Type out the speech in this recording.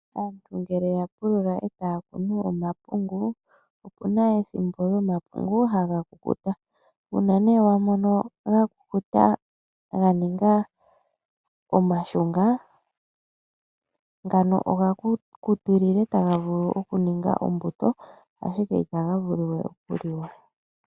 Aantu ngele ya pulula e taya kunu omapungu opuna ethimbo omapungu haga kukuta. Uuna nee wa mono ga kukuta ga ninga omashunga ngano oga kukutilila taga vulu okuninga ombuto ashike itaga vulu we okuliwa.